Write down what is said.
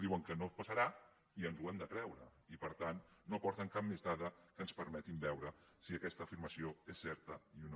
diuen que no passarà i ens ho hem de creure i per tant no aporten cap més dada que ens permeti veure si aquesta afirmació és certa o no